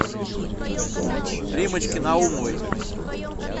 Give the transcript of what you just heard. риммочке наумовой